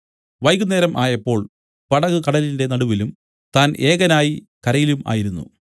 വൈകുന്നേരം ആയപ്പോൾ പടക് കടലിന്റെ നടുവിലും താൻ ഏകനായി കരയിലും ആയിരുന്നു